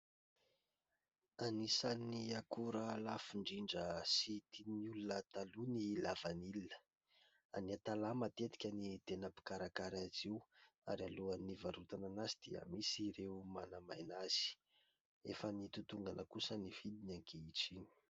Anisan'ny akora lafo indrindra sy tian'ny olona taloha ny lavanilina, any Antalàha matetika ny tena mpikarakara azy io ary alohan'ny hivarotana azy dia misy ireo manamaina azy, efa nitotongana kosa ny vidiny ankehitriny.